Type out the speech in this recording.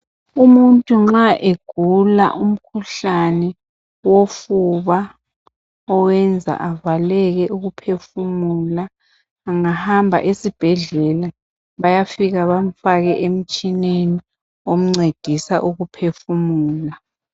Umuntu nxa egula umkhuhlane wofuba owenza avaleke ukuphefumula engahamba esibhedlela bayafika bamfake emtshineni oncedisa ukuphefumula.